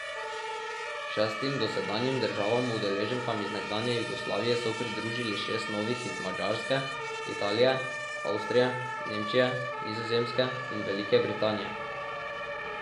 Šestim dosedanjim državam udeleženkam iz nekdanje Jugoslavije so pridružili šest novih iz Madžarske, Italije, Avstrije, Nemčije, Nizozemske in Velike Britanije.